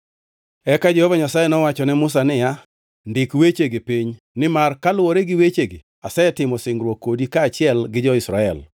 Eka Jehova Nyasaye nowacho ne Musa niya, “Ndik wechegi piny nimar kaluwore gi wechegi asetimo singruok kodi kaachiel gi jo-Israel.”